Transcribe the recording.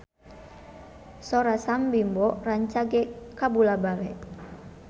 Sora Sam Bimbo rancage kabula-bale